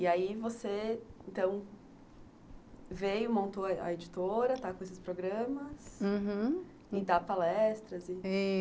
E aí você, então, veio, montou a editora, está com esses programas, uhum, e dá palestras.